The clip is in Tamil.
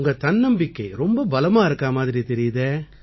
உங்க தன்னம்பிக்கை ரொம்ப பலமா இருக்கா மாதிரி தெரியுதே